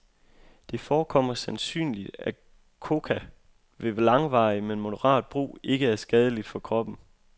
Det forekommer sandsynligt, at coca ved langvarig, men moderat brug, ikke er skadelig for kroppen.